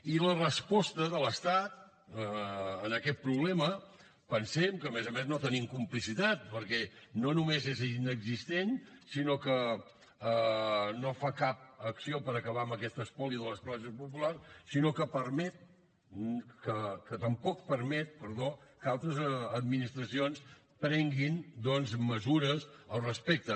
i la resposta de l’estat a aquest problema pensem que a més a més no tenim complicitat perquè no només és inexistent sinó que no fa cap acció per acabar aquest espoli de les classes populars i tampoc permet que altres administracions prenguin mesures al respecte